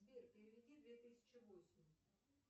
сбер переведи две тысячи восемь